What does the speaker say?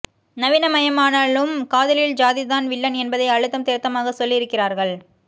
நவீனமயமானாலும் காதலில் ஜாதிதான் வில்லன் என்பதை அழுத்தம் திருத்தமாக சொல்லி இருக்கிறார்கள்